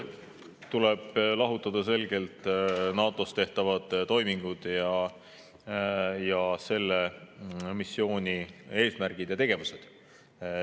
Tuleb selgelt lahutada NATO‑s tehtavad toimingud ning selle missiooni eesmärgid ja tegevused.